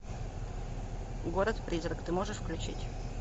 город призрак ты можешь включить